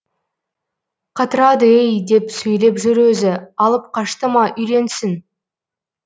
қатырады ей деп сөйлеп жүр өзі алып қашты ма үйленсін